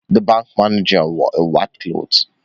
The bank manager wore a white shirt